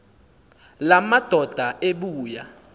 la madoda ebuya